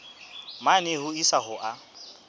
mane ho isa ho a